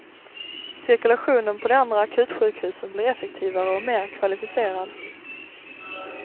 Cirkulationen på de andra akutsjukhusen blir effektivare och mer kvalificerad.